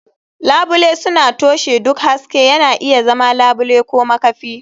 Labule suna toshe duk haske, yana iya zama labule ko makafi.